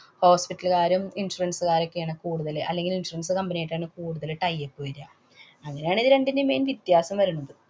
hospital കാരും, insurance കാരൊക്കെയാണ് കൂടുതല്. അല്ലെങ്കില്‍ insurance company യായിട്ടാണ് കൂടുതല് tie up വര്യ. അങ്ങനെയാണേല് രണ്ടിന്‍റെയും main വ്യത്യാസം വരണത്.